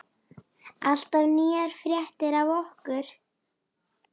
Alltaf nýjar fréttir af okkur.